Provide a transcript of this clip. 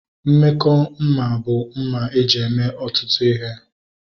Mmekọ mma bụ mma eji eme ọtụtụ ihe